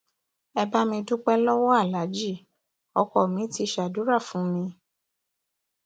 ẹ bá mi dúpẹ lọwọ aláàjì ọkọ mi ti ṣàdúrà fún mi